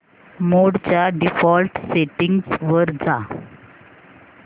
मोड च्या default settings वर जा